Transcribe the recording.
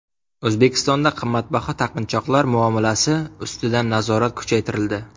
O‘zbekistonda qimmatbaho taqinchoqlar muomalasi ustidan nazorat kuchaytirildi.